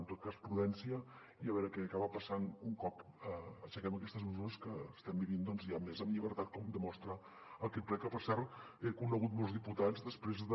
en tot cas prudència i a veure què acaba passant un cop aixequem aquestes mesures que estem vivint doncs ja més en llibertat com demostra aquest ple que per cert he conegut molts diputats després de